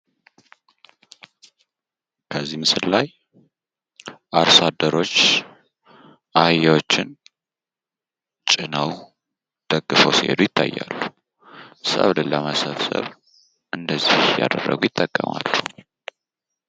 ከዚህ ምስል ላይ አርሶ አደሮች አህያዎችን ጭነው ደግፈው ሲሄዱ ይታያሉ። ሰብልን ለመሰብሰብ እንደዚህ እያደረጉ ይጠቀማሉ።